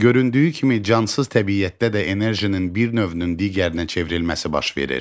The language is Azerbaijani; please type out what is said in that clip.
Göründüyü kimi cansız təbiətdə də enerjinin bir növünün digərinə çevrilməsi baş verir.